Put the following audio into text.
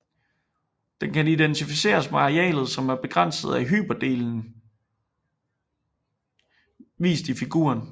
Den kan identificeres med arealet som er begrænset af hyperbelen vist i figuren